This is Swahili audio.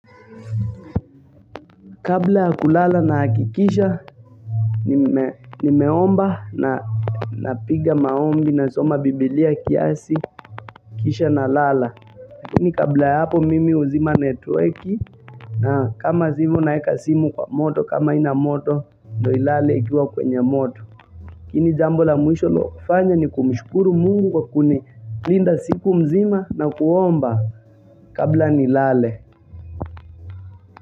Kabla ya kulala nahakikisha, nimeomba na piga maombi na soma biblia kiasi, kisha na lala. Lakini kabla ya hapo mimi huzima netweki na kama zsi hivo na weka simu kwa moto kama ina moto, ndo ilale ikiwa kwenye moto. Ili jambo la mwisho la kufanya ni kumishukuru mungu kwa kuni linda siku mzima na kuomba kabla ni lale.